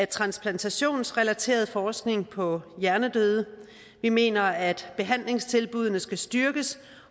transplantationsrelateret forskning på hjernedøde vi mener at behandlingstilbuddene skal styrkes